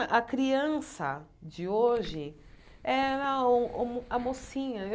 A criança de hoje era o o a mocinha.